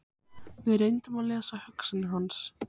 Við reyndum að lesa hugsanir hans.